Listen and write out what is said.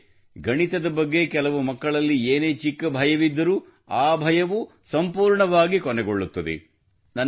ಅಲ್ಲದೆ ಗಣಿತದ ಬಗ್ಗೆ ಕೆಲವು ಮಕ್ಕಳಲ್ಲಿ ಏನೇ ಚಿಕ್ಕ ಭಯವಿದ್ದರೂ ಆ ಭಯವೂ ಸಂಪೂರ್ಣವಾಗಿ ಕೊನೆಗೊಳ್ಳುತ್ತದೆ